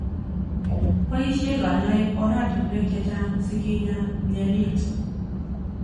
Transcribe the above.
Boishe kanyoik oratunwek chechang sikinya mnyenit.